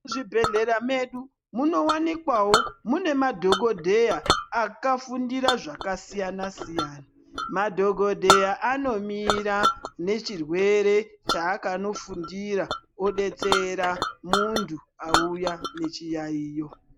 Muzvibhedhleya medu munowanikwawo mune madhokodheya akafundira zvakasiyanasiyana. Madhokodheya anomira nechirwere chaakanofundira odetsera munthu auya nechiyayiyo.